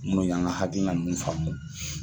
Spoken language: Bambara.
N' o y'an ka hakilina nunnu faamu